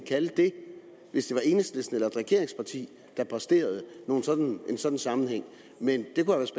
kalde det hvis det var enhedslisten eller et regeringsparti der præsterede en sådan sammenhæng men